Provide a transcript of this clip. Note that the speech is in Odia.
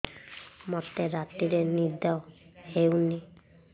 ମୋତେ ରାତିରେ ନିଦ ହେଉନି